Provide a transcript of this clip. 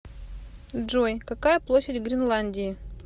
джой какая площадь гренландии